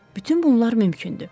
Bütün bunlar mümkündür.